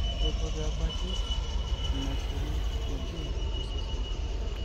kaiko peebaki enaishiri modiei tosesen